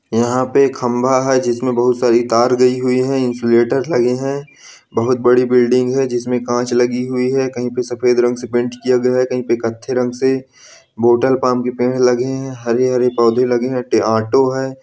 यहाँ पे एक खंभा है जिसमें बहोत सारी तार गई हुई है इंसुलेटर लगे हैं बहोत बड़ी बिल्डिंग है जिसमें काँच लगी हुए है कहीं पे सफेद रंग से पेंट किया गया है कहीं पे कत्थई रंग से बॉटल प्लम के पेड़ लगे हैं हरे-हरे पौधे लगे हैं ट ऑटो है।